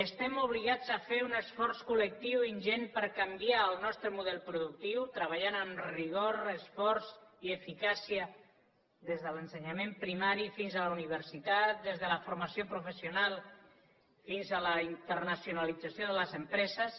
estem obligats a fer un esforç col·lectiu ingent per canviar el nostre model productiu treballant amb rigor esforç i eficàcia des de l’ensenyament primari fins a la universitat des de la for mació professional fins a la internacionalització de les em preses